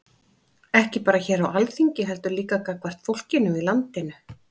Ekki bara hér á Alþingi heldur líka gagnvart fólkinu í landinu?